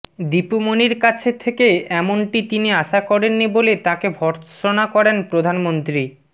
দীপু মনির কাছে থেকে এমনটি তিনি আশা করেননি বলে তাকে ভর্ৎসনা করেন প্রধানমন্ত্রী